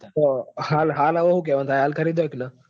હાલ અવ હું કેવું થાય હાલ ખરીદાય કે ની.